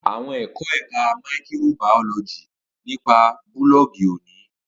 Awọn ẹkọ Ẹka maikirobaoloji nipa bulọọgi- oni